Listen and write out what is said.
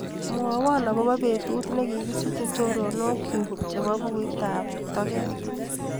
Mwawa akobo betut nekikisiche chorondokchu chebo bukuitaop toket.